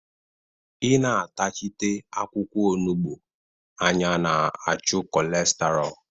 Ị na-atachite akwụkwọ onugbu anya na-achụ kolestaro